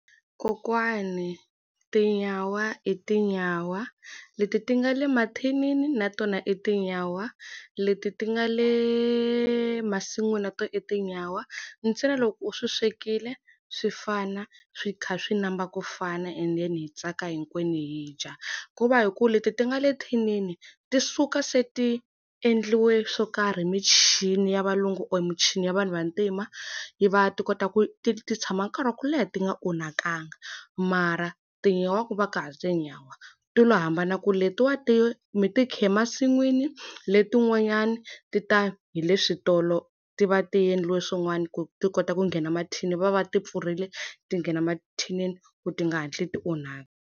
Kokwani tinyawa i tinyawa. Leti ti nga le mathinini na tona i tinyawa. Leti ti nga le masin'wini na tona i tinyawa. Ntsena loko u swi swekile swi fana, swi kha swi namba ku fana enden hi tsaka hinkwenu hi dya. Ku va hi ku leti ti nga le thinini ti suka se ti endliwe swo karhi hi michini ya valungu or michini ya vanhu vantima, yi va ti kota ku ti ti tshama nkarhi wa ku leha ti nga onhakangi. Mara tinyawa ku va ka ha ri tinyawa. Ti lo hambana ku letiwa ti mi ti khe masin'wini letin'wanyani ti ta hi le switolo ti va ti endliwe swin'wana ku ti kota ku nghena mathini va va va ti pfurile, ti nghena mathinini ku ti nga hatlisi ti onhaka.